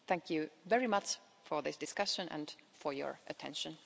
Thank you very much for this discussion and for your attention.